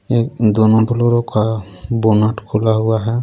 एक दोनों का बोनट खुला हुआ है.